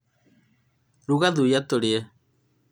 ruga thuya tũrĩe